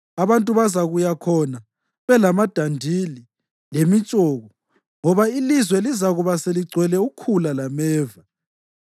Abantu bazakuya khona belamadandili lemitshoko ngoba ilizwe lizakuba seligcwele ukhula lameva.